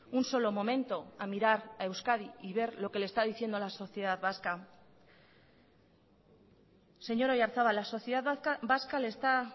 un solo momento a mirar a euskadi y ver lo que le está diciendo a la sociedad vasca señor oyarzabal la sociedad vasca le está